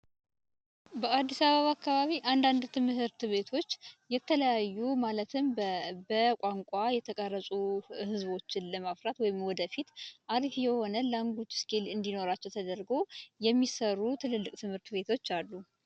በአዲስ አበባ አካባቢ አንዳንድ ትምህርት ቤቶች የተለያዩ ማለትም በቋንቋ የተቀረፁ ህዝቦችን ለማፍራት ወይንም ወደፊት አሪፍ የሆነ ላንጉዌጅ እስኪል እንዲኖራቸው ተደርጎ የሚሰሩ ትልልቅ ትምህርት ቤቶች አሉ።